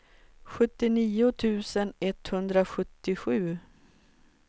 sjuttionio tusen etthundrasjuttiosju